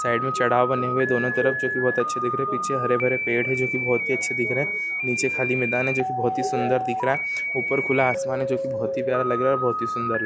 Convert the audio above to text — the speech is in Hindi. साइड मे चड़ाव् बने हुए है दोनों तरफ जो कि बहुत अच्छे दिख रहे है पीछे हरे-भरे पेड़ है जो कि बहुत ही अच्छे दिख रहे है नीचे खाली मैदान है जो कि बहुत ही सुंदर दिख रहा है ऊपर खुला आसमान है जो कि बहुत ही प्यारा लग रहा है और बहुत ही सुंदर लग--